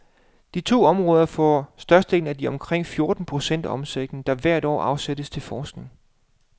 De to områder får størstedelen af de omkring fjorten procent af omsætningen, der hvert år afsættes til forskning.